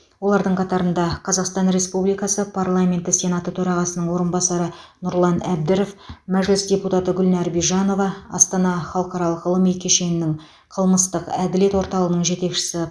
олардың қатарында қазақстан республикасы парламенті сенаты төрағасының орынбасары нұрлан әбдіров мәжіліс депутаты гүлнар бижанова астана халықаралық ғылыми кешенінің қылмыстық әділет орталығының жетекшісі